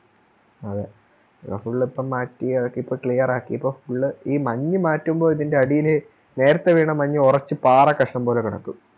അതെ അ Full ഇപ്പൊ മാറ്റി അതോക്കിപ്പം Clear ആക്കിപ്പോ Full ഈ മഞ്ഞ് മാറ്റുമ്പോ ഇതിൻറെ അടിയില് നേരത്തെ വീണ മഞ്ഞ് ഒറച്ച് പാറക്കഷ്ണം പോലെ കിടക്കും